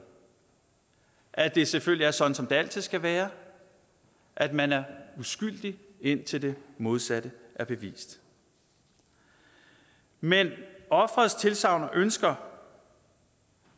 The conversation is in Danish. at det selvfølgelig er sådan som det altid skal være at man er uskyldig indtil det modsatte er bevist men offerets tilsagn og ønsker